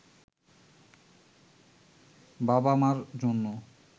বাবা-মার জন্য